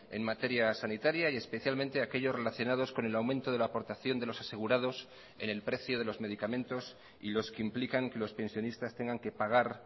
en materia sanitaria y especialmente a aquellos relacionados con el aumento de la aportación de los asegurados en el precio de los medicamentos y los que implican que los pensionistas tengan que pagar